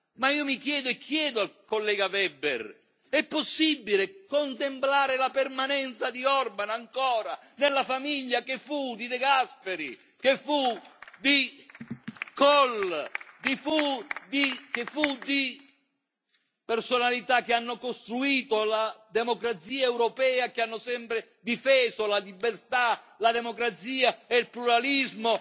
Ma io mi chiedo e chiedo al collega Weber se è ancora possibile contemplare la permanenza di Orban nella famiglia che fu di De Gasperi, che fu di Kohl, che fu di personalità che hanno costruito la democrazia europea, che hanno sempre difeso la libertà, la democrazia e il pluralismo.